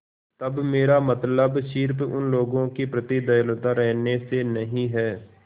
तब मेरा मतलब सिर्फ़ उन लोगों के प्रति दयालु रहने से नहीं है